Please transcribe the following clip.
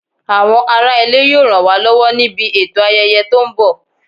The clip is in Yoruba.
Àwọn ará ilé yóò ràn wá lọ́wọ́ níbi ètò ayẹyẹ tó ń bọ̀